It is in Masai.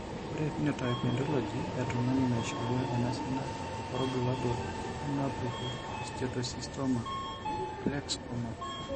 Ore ephenotype ontology etung'ani neishooyo enasiana oorbulabul onaapuku eSteatocystoma plexkumok.